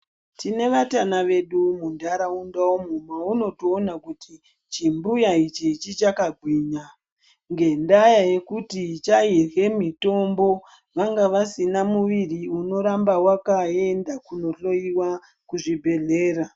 Tine vatana vedu muntaraunda umu maunotoona kuti chimbuya ichi chichakagwinya. Ngendaa yekuti chairya mitombo vanga vasina mwiri unoramba vakaenda kohloiwa kuzvibhedhlera.